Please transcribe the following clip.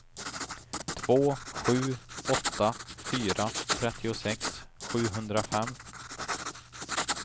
två sju åtta fyra trettiosex sjuhundrafem